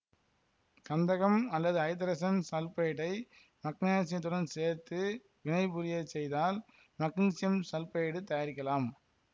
கந்தகம் அல்லது ஐதரசன் சல்பைடை மக்னீசியத்துடன் சேர்த்து வினைபுரிய செய்தால் மக்னீசியம் சல்பைடைத் தயாரிக்கலாம்